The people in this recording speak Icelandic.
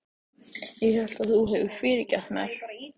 Ég hélt að þú hefðir fyrirgefið mér.